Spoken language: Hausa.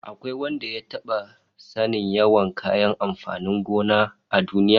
Akwai wanda ya taba sanin yawan kayan amfanin gona a duniya?